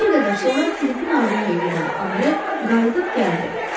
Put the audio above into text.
Bir qədər sonra Philipin ardınca gedən Andre qayıdıb gəldi.